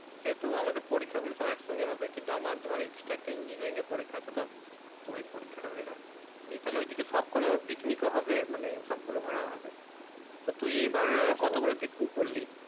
সে তো পরীক্ষা গুলো এক সঙ্গে হবে কিন্তু আমার ধর extra একটা engineering পরীক্ষা আছে তো ঐই পরীক্ষা টা হয়ে যাক নিয়ে তাহলে ঐই দিকে সব করা picnic ও হবে মানে সব গুলো ঘোরাও হবে তো তুই এই বার কত গুলো picnic করলি